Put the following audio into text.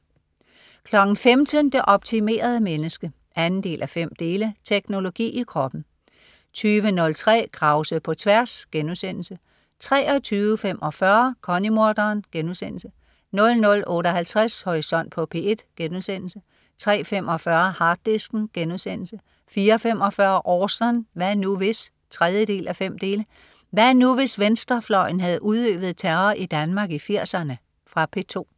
15.00 Det optimerede menneske 2:5. Teknologi i kroppen 20.03 Krause på tværs* 23.45 Connie-morderen* 00.58 Horisont på P1* 03.45 Harddisken* 04.45 Orson. Hvad nu hvis? 3:5. Hvad nu hvis venstrefløjen havde udøvet terror i Danmark i 80'erne? Fra P2